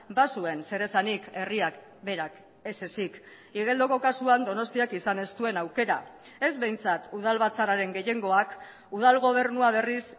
bazuen zer esanik herriak berak ez ezik igeldoko kasuan donostiak izan ez duen aukera ez behintzat udal batzarraren gehiengoak udal gobernua berriz